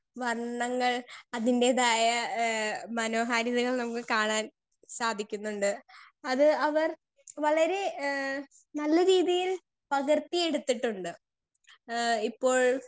speaker 2 വർണങ്ങൾ അതിന്റെതായ ഏഹ് മോനോഹാരിതകൾ നമ്മൾ കാണാൻ സാധിക്കുന്നുണ്ട് അത് അവർ വളരെ ഏഹ് നല്ല രീതിയിൽ പകർത്തി എടുത്തിട്ടുണ്ട് എഹ് ഇപ്പോൾ